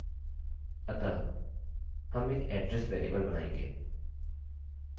अतः हम एक address वेरिएबल बनाएँगे